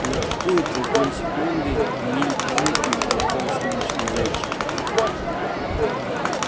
на какую-то долю секунды мелькнул и пропал солнечный зайчик